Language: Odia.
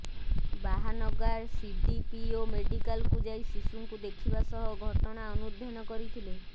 ବାହାନଗା ସିଡିପିଓ ମେଡିକାଲକୁ ଯାଇ ଶିଶୁଙ୍କୁ ଦେଖିବା ସହ ଘଟଣା ଅନୁଧ୍ୟାନ କରିଥିଲେ